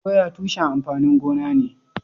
Doya tushen amfanin gona ne.